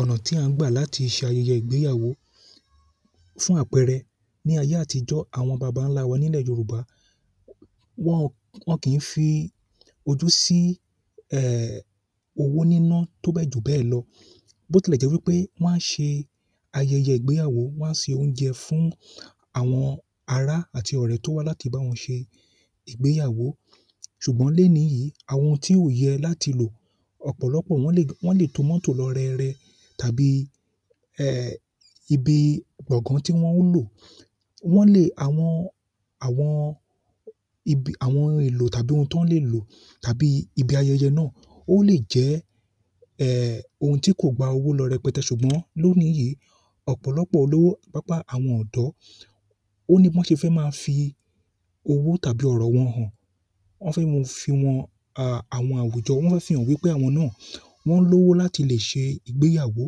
Ọ̀nà tí a ń gbà láti ṣe ayẹyẹ ìgbéyàwó fún àpẹẹrẹ ní ayé àtijọ́, àwọn bàbá ńlá wa nílẹ̀ Yorùbá wọ́n, wọ́n kì í fi ojú sí ẹẹ̀ owó níná tó bẹ́ẹ̀ jù bẹ́ẹ̀ lọ. Bó tilẹ̀ jẹ́ wípé wọ́n á ṣe ayẹyẹ ìgbéyàwó, wọ́n á se oúnjẹ fún àwọn ará àti ọ̀rẹ́ tó wá láti bá wọn ṣe ìgbéyàwó. Ṣùgbọ́n léèní yìí àwọn tí ó yẹ láti lò ọ̀pọ̀lọpọ̀ wọ́n lè, wọ́n lè to mọ́tò lọ rẹ́rẹ́ tàbí ẹẹ̀ ibi gbọ̀ngán tí wọ́n ó lò. Wọ́n lè àwọn, àwọn ibi àwọn ohun èlò tàbí ohun tó lè lò tàbí ibi ayẹyẹ náà. Ó lè jẹ́ ẹẹ̀ ohun tí kò gba owó lọ rẹpẹtẹ́. Ṣùgbọ́n lónìí yìí ọ̀pọ̀lọpọ̀ olówó, pàápàá àwọn ọ̀dọ́, ó ní bí wọ́n ṣe fẹ́ máa fi owó tàbí ọ̀rọ̀ wọn hàn. Wọ́n fẹ́ mú, fi wọn a àwọn àwùjọ, wọ́n fẹ́ fi hàn wípé àwọn náà wọ́n lówó láti lè ṣe ìgbéyàwó.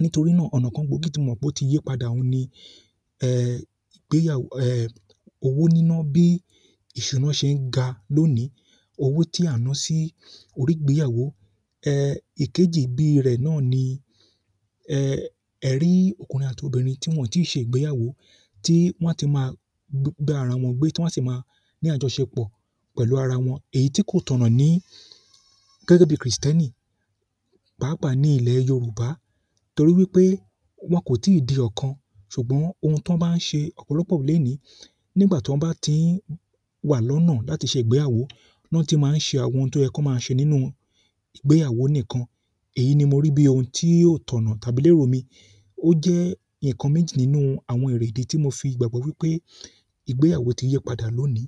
Nítorí náà ọ̀nà kan gbòógì tí mo mọ̀ pé ó ti yí padà n ni ẹẹ́ ìgbéyàwó ẹẹ̀ owó níná bí ìṣúná ṣe ń ga lónìí. Owó tí a ń ná sí orí ìgbéyàwó. Ẹẹ ìkejì bíi rẹ̀ náà ni ẹ ẹ rí ọkùnrin àti obìnrin tí wọ́n ò tí ì ṣe ìgbéyàwó tí wọ́n ti máa bá ara wọn gbé, tí wọ́n á sì máa ní àjọṣepọ̀ pẹ̀lú ara wọn. Èyí tí kò tọ̀nà ní gẹ́gẹ́ bí Kristẹ́nì, pàápàá ní ilẹ̀ Yorùbá. Torí wípé wọ́n kò tí ì di ọ̀kan. Ṣùgbọ́n ohun tí wọ́n bá ń ṣe ọ̀pọ̀lọpọ̀ lénìí nígbà tí wọ́n bá ti ń wà lọ́nà láti ṣe ìgbéyàwó ni wọ́n ti máa ń ṣe àwọn ohun tí ó yẹ kan maa ṣe nínú ìgbéyàwó nìkan. Èyí ni mo rí bí ohun tí ò tọ̀nà tàbí lérò mi. Ó jẹ́ ǹkan méjì nínú àwọn èrè ìdí tí mo fi gbàgbọ́ wípé ìgbéyàwó ti yí padà lónìí.